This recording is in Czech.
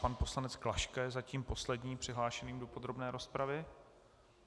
Pan poslanec Klaška je zatím posledním přihlášeným do podrobné rozpravy.